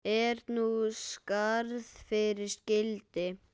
Er nú skarð fyrir skildi.